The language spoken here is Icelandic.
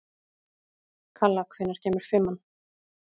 Kalla, hvenær kemur fimman?